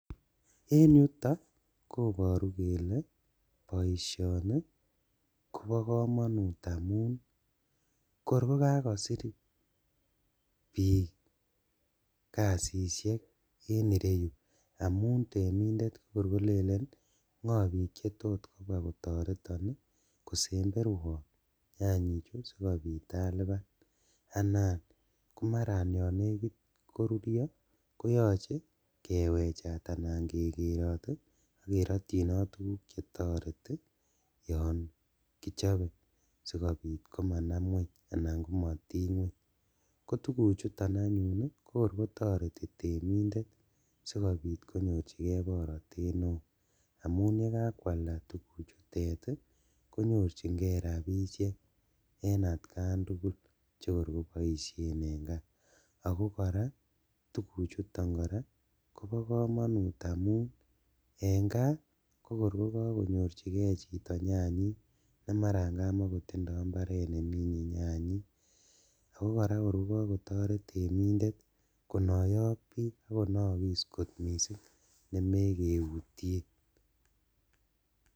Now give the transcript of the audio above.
En yuto koborun kele boisioni kobo komonut amun korkokakosir bik kasishek en ireyu amun temindet kokor kolelen bgo bik chetot kobwa kotoreton kosemberwon nyanyichu sikobit aliban, anan komaran yon nekit korurio koyoche kewechat anan kekerot ii ak kerotchinot tuguk chetoreti yon kichobe sikobit komanam ngweny anan komotiny ngweny, kotuguchuton anyun ii kokor kotoreti temindet sikobit konyorjigee borotet neo amun yekakwalda tuguchutet konyorjigee rabishek en atkan tugul chekor koboishen en kaa, ako koraa tuguchuton koraa kobo komonut amun en kaa kokor kokokonyorjigee chito nyanyik nemaran kamakotindo imbaret neminjin nyanyik oo koraa kor kokokotoret temindet konoyo ok bik ok konookus kot missing' nemekeutien.